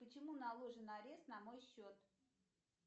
почему наложен арест на мой счет